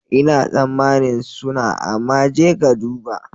Ina tsammanin suna, amma je ka duba.